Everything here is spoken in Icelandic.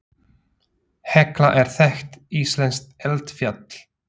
Hekla er þekkt íslenskt eldfjall.